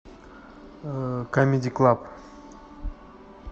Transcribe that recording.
камеди клаб